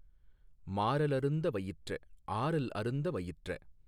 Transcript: மாரலருந்த வயிற்ற ஆரல் அருந்த வயிற்ற